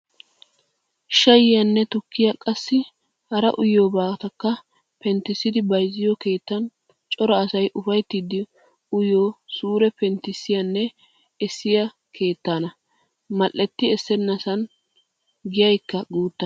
Shayiyaanne tukkiya qassi hara uyiyoobatakka penttissidi bayzziyo keettan cora asay ufayttidi uyiyo suure penttissiyanne eessiyaa keettaana. Mal"etti essennasan giyaykka guutta.